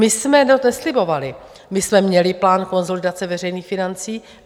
My jsme to neslibovali, my jsme měli plán konsolidace veřejných financí.